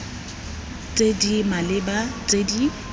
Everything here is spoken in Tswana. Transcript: tse di maleba tse di